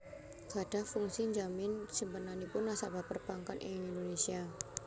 gadhah fungsi njamin simpenanipun nasabah perbankan ing Indonésia